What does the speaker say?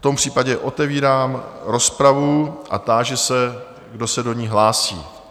V tom případě otevírám rozpravu a táži se, kdo se do ní hlásí?